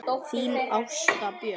Þín Ásta Björk.